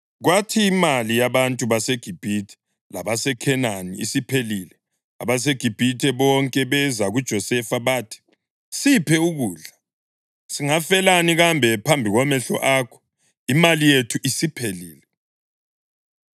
Kwathi imali yabantu baseGibhithe labaseKhenani isiphelile, abaseGibhithe bonke beza kuJosefa bathi, “Siphe ukudla. Singafelani kambe phambi kwamehlo akho? Imali yethu isiphelile.”